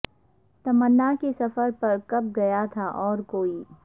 تمنا کے سفر پر کب گیا تھا اور کوئی